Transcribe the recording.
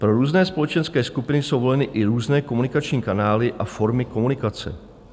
Pro různé společenské skupiny jsou voleny i různé komunikační kanály a formy komunikace.